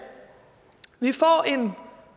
vi får en